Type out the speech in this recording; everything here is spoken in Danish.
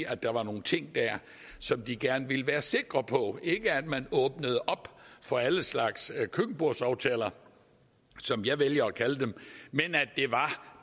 at der var nogle ting dér som de gerne ville være sikre på at man åbnede op for alle slags køkkenbordsaftaler som jeg vælger at kalde dem men at det var